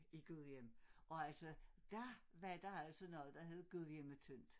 I Gudhjem og altså dér var der altså noget der hed Gudhjemmetyndt